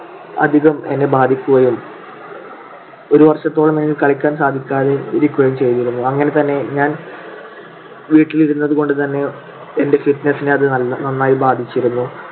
അധികം എന്നെ ബാധിക്കുകയും ഒരു വർഷത്തോളം എനിക്ക് കളിയ്ക്കാൻ സാധിക്കാതെ ഇരിക്കുകയും ചെയ്‌തിരുന്നു. അങ്ങനെ തന്നെ ഞാൻ വീട്ടിൽ ഇരുന്നതുകൊണ്ടു തന്നെ എൻ്റെ fitness നെ അത് നന്നായി ബാധിച്ചിരുന്നു.